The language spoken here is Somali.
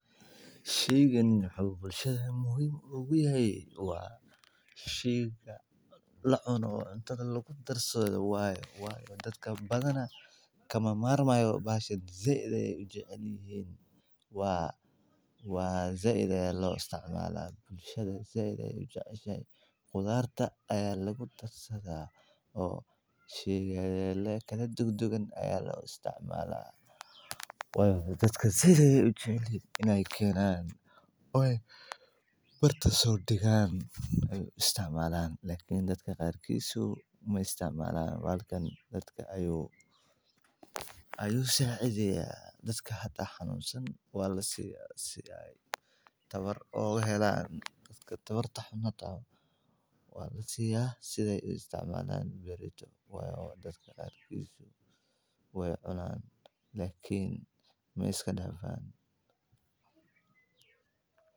Sheeygan wuxuu bulshada muhiim oo gu yahay, waa sheeyga la cuno, cuntada lagu darsado waaye, waa mid ka mid ah khudaarta, waxaana lagu aqoonsan yahay madaxiisa cad ama mid liin ah, kaas oo ka kooban dhiiraga yaryar ee la isku yiraahdo waxaana lagu cuni karaa qaabab kala duwan sida marka la kariyo, la dhundo, la shiido, la sameeyo suugo, la burburiyo sidii raashinkii, la isticmaalo salaatad, ama la qasbo, waxaana leh macaan aan caadi ahayn oo ay weheliso dhadhan qosol iyo qurux badan, waxaana ka mid ah faa'iidooyinkiisa caafimaadka badan.